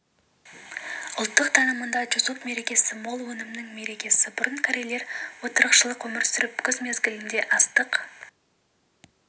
ұлттық танымында чусок мерекесі мол өнімнің мерекесі бұрын корейлер отырықшылық өмір сүріп күз мезгілінде астық